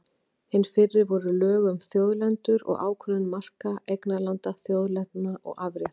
Hin fyrri voru lög um þjóðlendur og ákvörðun marka eignarlanda, þjóðlendna og afrétta.